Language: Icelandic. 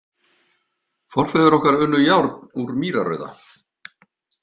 Forfeður okkar unnu járn úr mýrarauða.